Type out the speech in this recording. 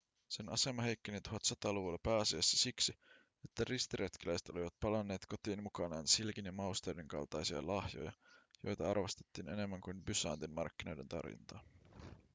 sen asema heikkeni 1100-luvulla pääasiassa siksi että ristiretkeläiset olivat palanneet kotiin mukanaan silkin ja mausteiden kaltaisia lahjoja joita arvostettiin enemmän kuin bysantin markkinoiden tarjontaa